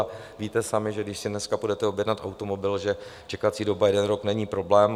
A víte sami, že když si dneska půjdete objednat automobil, že čekací doba jeden rok není problém.